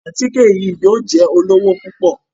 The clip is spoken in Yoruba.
Àtike yìí yóò jẹ lówo pupọ